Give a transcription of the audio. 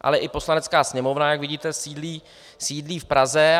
Ale i Poslanecká sněmovna, jak vidíte, sídlí v Praze.